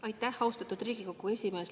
Aitäh, austatud Riigikogu esimees!